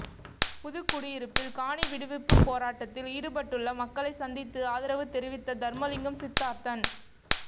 புதுக்குடியிருப்பில் காணி விடுவிப்புப் போராட்டத்தில் ஈடுபட்டுள்ள மக்களைச் சந்தித்து ஆதரவு தெரிவித்த தர்மலிங்கம் சித்தார்த்தன்